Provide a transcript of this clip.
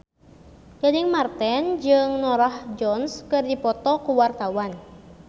Gading Marten jeung Norah Jones keur dipoto ku wartawan